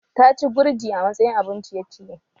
Ta ci gurji a matsayin abun ciye-ciye